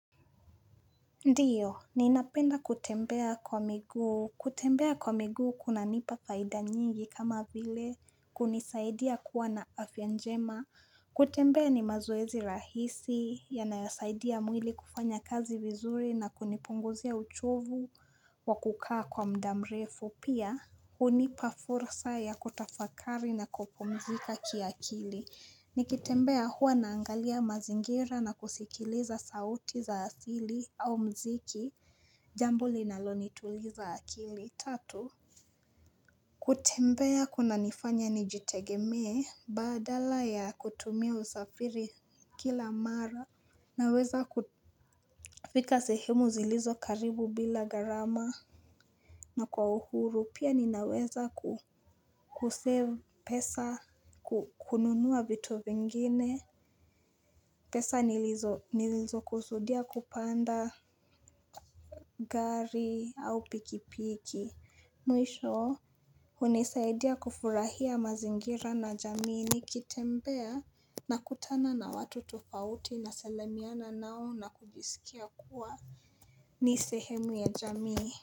Ndiyo, ninapenda kutembea kwa miguu. Kutembea kwa miguu kunanipa faida nyingi kama vile kunisaidia kuwa na afya njema. Kutembea ni mazoezi rahisi yanayosaidia mwili kufanya kazi vizuri na kunipunguzia uchovu wa kukaa kwa muda mrefu. Pia, hunipa fursa ya kutafakari na kopumzika kiakili. Nikitembea huwa naangalia mazingira na kusikiliza sauti za asili au mziki Jambo linalo nituliza akili tatu kutembea kunanifanya nijitegemee badala ya kutumia usafiri kila mara Naweza kufika sehemu zilizo karibu bila gharama na kwa uhuru pia ninaweza kusave pesa kununua vitu vingine pesa nilizo nilizokusudia kupanda gari au pikipiki Mwisho hunisaidia kufurahia mazingira na jamii ni kitembea nakutana na watu tofauti nasalamiana nao na kujisikia kuwa ni sehemu ya jamii.